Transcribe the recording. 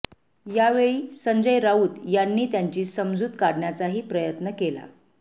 यावेळी संजय राऊत यांनी त्यांची समजूत काढण्याचाही प्रयत्न केला